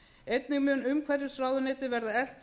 einnig mun umhverfisráðuneytið verða eflt